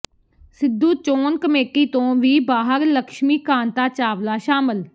ਸਿੱਧੂ ਚੋਣ ਕਮੇਟੀ ਤੋਂ ਵੀ ਬਾਹਰ ਲਕਸ਼ਮੀ ਕਾਂਤਾ ਚਾਵਲਾ ਸ਼ਾਮਲ